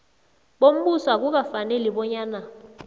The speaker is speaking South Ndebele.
bombuso akukafaneli bonyana